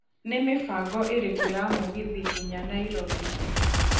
nĩ mĩbango ĩrĩkũ ya mũgithi nginya nairobi